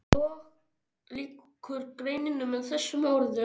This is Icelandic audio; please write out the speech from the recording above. Svo lýkur greininni með þessum orðum